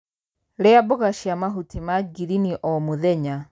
Rĩa mboga cia mahuti ma ngirini o mũthenya.